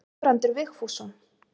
Guðbrandur Vigfússon.